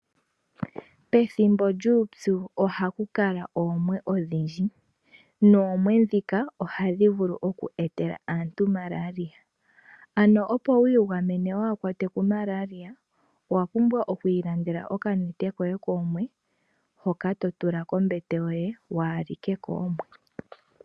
Pethimbo lyuupyu ohaku kala oomwe odhindji, noomwe ndhika ohadhi vulu oku etela aantu Malaria. Ano opo wu igamene waahakwatwe ku malaria, owa pumbwa oku ilandela okanete koye. Hoka to tula kombete yoye waahalike koomwe.